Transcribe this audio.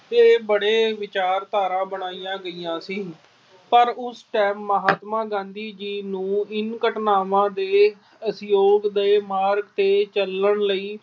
ਕੇ ਬੜੀਆਂ ਵਿਚਾਰਧਾਰਾ ਬਣਾਈਆਂ ਗਈਆਂ ਸੀ। ਪਰ ਉਸ time ਮਹਾਤਮਾ ਗਾਂਧੀ ਜੀ ਨੂੰ ਇੰਨ੍ਹਾਂ ਘਟਨਾਵਾਂ ਦੇ ਅਸਹਿਯੋਗ ਦੇ ਮਾਰਗ ਤੇ ਚਲਣ ਲਈ